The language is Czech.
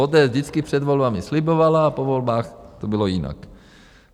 ODS vždycky před volbami slibovala a po volbách to bylo jinak.